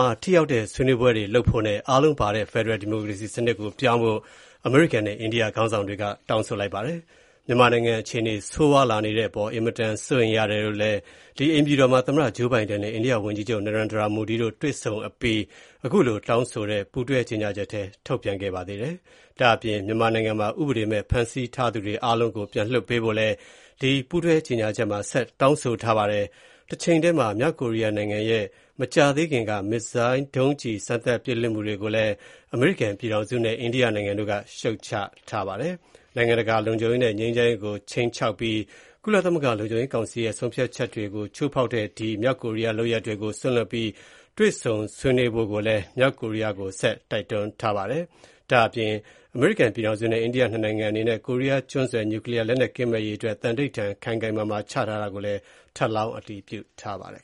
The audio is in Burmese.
ှာ ထိရောက်တဲ့ ဆွေးနွေးမှုတွေလုပ်ဖို့နဲ့ အားလုံးပါဝင်တဲ့ ဖယ်ဒရယ်ဒီမိုကရေစီစနစ်ဆီ အသွင်ပြောင်းဖို့ အမေရိကန်နဲ့ အိန္ဒိယနိုင်ငံတို့က တောင်းဆိုလိုက်ပါတယ်။ မြန်မာနိုင်ငံ အခြေအနေဆိုးဝါးလာတဲ့အပေါ် အင်မတန်စိုးရိမ်တယ်လို့ အိမ်ဖြူတော်မှာ သမ္မတ Joe Biden နဲ့ အိန္ဒိယဝန်ကြီးချုပ် Narendra Modi တို့တွေ့ဆုံအပြီး ပူးတွဲ ကြေညာချက်ထုတ်ပြန်ခဲ့တာဖြစ်ပါတယ်။ မြန်မာနိုင်ငံမှာ ဥပဒေမဲ့ ဖမ်းဆီးထားသူတွေအားလုံးကို ပြန်လွှတ်ပေးဖို့လည်း ပူးတွဲကြေညာချက်မှာ တောင်းဆိုထားပါတယ်။ တချိန်တည်းမှာ မြောက်ကိုရီးယားနိုင်ငံရဲ့ မကြာသေးခင်က မစ်ဇိုင်းဒုံးကျည် စမ်းသပ်ပစ်ခတ်မှုတွေကိုလည်း အမေရိကန်ပြည်ထောင်စုနဲ့ အိန္ဒိယနိုင်ငံတွေက ရှုတ်ချထားပါတယ်။ နိုင်ငံတကာ လုံခြုံရေးနဲ့ ငြိမ်းချမ်းရေးကို ခြိမ်းခြောက်ပြီး ကုလသမဂ္ဂ လုံခြုံရေးကောင်စီရဲ့ ဆုံးဖြတ်ချက်တွေကို ချိုးဖေါက်တဲ့ လုပ်ရပ်တွေကို စွန့်လွှတ်ပြီး တွေ့ဆုံဆွေးနွေးဖို့ မြောက်ကိုရီးယား နိုင်ငံကို တိုက်တွန်းထားပါတယ်။ အမေရိကန်ပြည်ထောင်စုနဲ့ အိန္ဒိယ နှစ်နိုင်ငံအနေနဲ့ ကိုရီးယားကျွန်းဆွယ် နျုကလီးယား လက်နက် ကင်းမဲ့ရေးအတွက် သံန္နိဋ္ဌာန် ခိုင်ခိုင်မာမာ ချမှတ်ထားတာကို ထပ်လောင်းအတည်ပြုထားပါတယ်